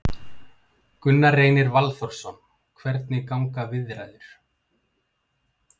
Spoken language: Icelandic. Gunnar Reynir Valþórsson: Hvernig ganga viðræður?